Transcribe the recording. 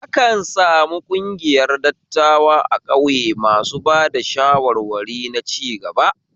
Akan sami ƙungiyar dattawa a ƙauye masu ba da shawarwari na cigaba